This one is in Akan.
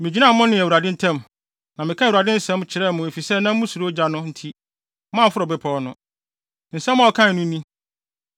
Migyinaa mo ne Awurade ntam, na mekaa Awurade asɛm kyerɛɛ mo efisɛ na musuro ogya no nti, moamforo bepɔw no. Nsɛm a ɔkae no ni: